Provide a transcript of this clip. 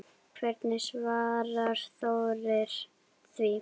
Hvernig svarar Þórir því?